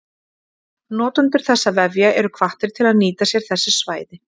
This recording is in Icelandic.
Notendur þessara vefja eru hvattir til að nýta sér þessi svæði.